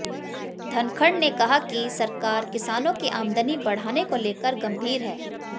धनखड़ ने कहा कि सरकार किसानों की आमदनी बढ़ाने को लेकर गंभीर है